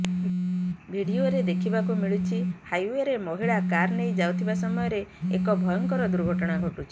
ଭିଡିଓରେ ଦେଖିବାକୁ ମିଳୁଛି ହାଇେଓ୍ବରେ ମହିଳା କାର ନେଇ ଯାଉଥିବା ସମୟରେ ଏକ ଭୟଙ୍କର ଦୁର୍ଘଟଣା ଘଟୁଛି